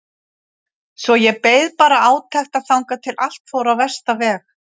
Svo ég beið bara átekta þangað til allt fór á versta veg.